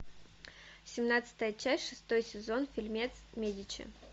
семнадцатая часть шестой сезон фильмец медичи